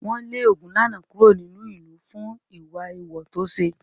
Wọ́n lé Ogunlana kúrò nínú ìlú fún ìwà èèwọ̀ tó ṣe.